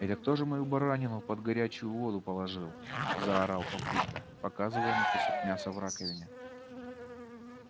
это кто же мою баранину под горячую воду положил заорал папулька показывая на кусок мяса в раковине